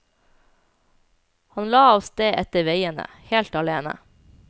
Han la av sted etter veiene, helt alene.